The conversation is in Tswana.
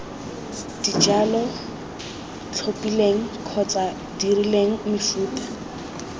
dijalo tlhophileng kgotsa dirileng mefuta